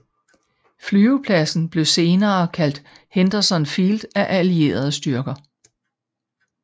Flyvepladsen blev senere kaldt Henderson Field af allierede styrker